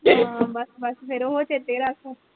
ਹਾਂ ਬਸ ਬਸ ਫਿਰ ਉਹੋ ਚੇਤੇ ਰੱਖ